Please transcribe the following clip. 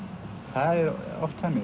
það er oft þannig